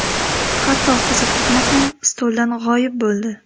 Hatto qizil tugma ham stoldan g‘oyib bo‘ldi.